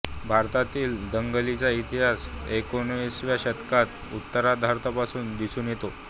भारतातील दंगंलींचा इतिहास एकोणिसाव्या शतकाच्या उत्तरार्धापासून दिसून येतो